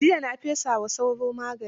Jiiya na fesa wa sauro magani.